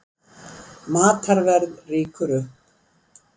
Matarverð rýkur upp